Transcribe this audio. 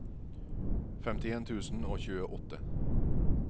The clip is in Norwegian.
femtien tusen og tjueåtte